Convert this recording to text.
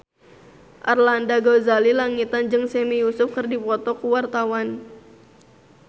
Arlanda Ghazali Langitan jeung Sami Yusuf keur dipoto ku wartawan